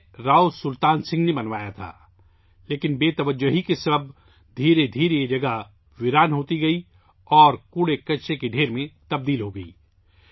اسے راؤ سلطان سنگھ نے تعمیر کروایا تھا، لیکن نظر انداز ہونے کی وجہ سے آہستہ آہستہ یہ جگہ ویران ہوتی گئی اور کچرے کے ڈھیر میں تبدیل ہوگئی